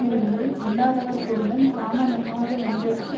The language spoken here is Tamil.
மிடும்பை யில்லாதவர்பொருளுங் காமமுமாகாவென்றற்கு